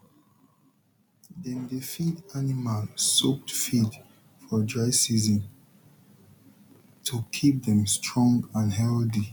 dem dey feed animal soaked feed for dry season to keep dem strong and healthy